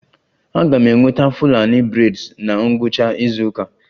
Aga m enweta Fulani braids na ngwụcha izu ụka